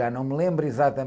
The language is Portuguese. Já não me lembro